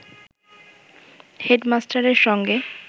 হেডমাস্টারের সঙ্গে